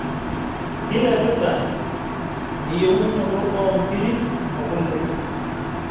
kilepita eyeunoto oo nkirik oo kole